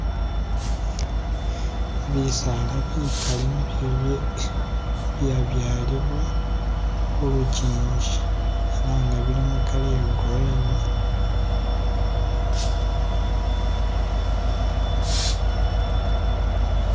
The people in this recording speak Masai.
Bisaala bikaali ni byebye, byabyalibwa khulukingi ela nga bili mu color iye green.